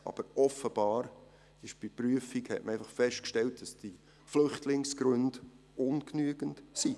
Aber offenbar hat man bei der Prüfung einfach festgestellt, dass die Flüchtlingsgründe ungenügend sind.